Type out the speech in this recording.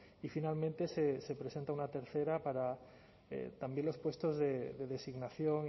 y finalmente se presente una tercera para también los puestos de designación